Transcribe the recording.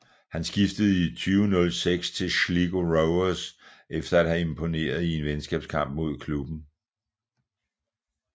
Han skiftede i 2006 til Sligo Rovers efter at have imponeret i en venskabskamp imod klubben